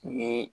U ye